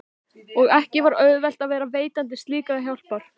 Og ekki var auðvelt að vera veitandi slíkrar hjálpar.